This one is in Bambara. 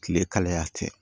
Kile kalaya tɛ